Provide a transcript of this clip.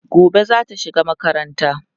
gobe zata shiga makaranta